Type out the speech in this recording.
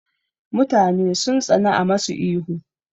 Mutane sun tsana a masu ihu